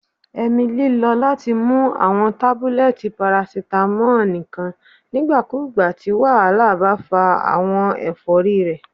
Emily lo lati mu awọn tabulẹti paracetamol nikan nigbakugba ti wahala ba fa awọn efori rẹ